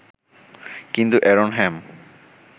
কিন্তু এ্যারন হ্যাম